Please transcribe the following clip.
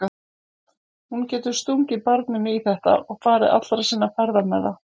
Hún getur stungið barninu í þetta og farið allra sinna ferða með það.